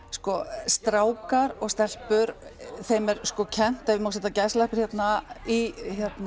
sko strákar og stelpur þeim er sko kennt ef ég má setja gæsalappir hérna í